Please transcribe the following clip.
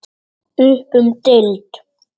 Upp um deild